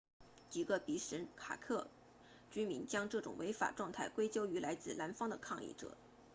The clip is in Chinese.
几个比什凯克居民将这种违法状态归咎于来自南方的抗议者